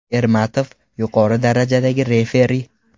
Ermatov – yuqori darajadagi referi.